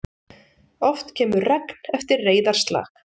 Oft kemur regn eftir reiðarslag.